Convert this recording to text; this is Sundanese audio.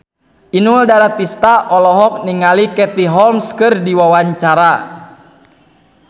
Inul Daratista olohok ningali Katie Holmes keur diwawancara